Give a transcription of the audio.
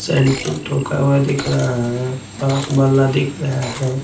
हुआ दिख रहा है बांस बल्ला दिख रहा है।